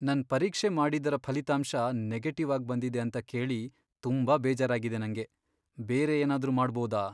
ನನ್ ಪರೀಕ್ಷೆ ಮಾಡಿದ್ದರ ಫಲಿತಾಂಶ ನೆಗೆಟಿವ್ ಆಗ್ ಬಂದಿದೆ ಅಂತ ಕೇಳಿ ತುಂಬಾ ಬೇಜಾರಾಗಿದೆ ನಂಗೆ. ಬೇರೆ ಏನಾದ್ರೂ ಮಾಡ್ಬೋದ?